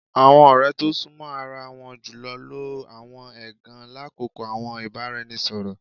Awọn ọrẹ to sunmọ ara won julọ lo awọn ẹgan lakoko awọn ibaraẹnisọrọ